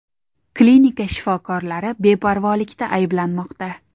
Klinika shifokorlari beparvolikda ayblanmoqda.